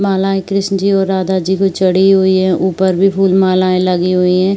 मालायें कृष्ण जी और राधा जी को चढ़ी हुई हैं। ऊपर भी फूल मालायें लगी हुई हैं।